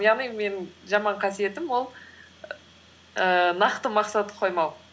яғни менің жаман қасиетім ол ііі нақты мақсат қоймау